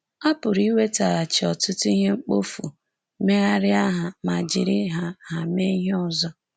A pụrụ iwetaghachi ọtụtụ ihe mkpofu, megharịa ha ma jiri ha ha mee ihe ọzọ…